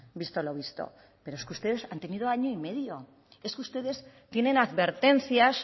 visto lo visto pero es que ustedes han tenido año y medio es que ustedes tienen advertencias